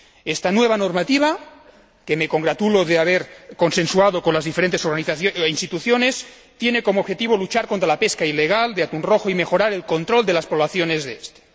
Esta nueva normativa, que me congratulo de haber consensuado con las diferentes instituciones, tiene como objetivo luchar contra la pesca ilegal de atún rojo y mejorar el control de las poblaciones del mismo.